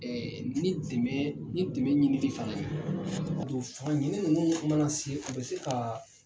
Ɛɛ ni dɛmɛ, ni dɛmɛ ɲini ni fana ye. Don fa minɛn mana se u bɛ se ka